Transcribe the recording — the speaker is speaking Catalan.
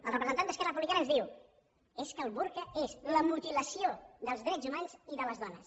el representant d’esquerra republicana ens diu és que el burca és la mutilació dels drets humans i de les dones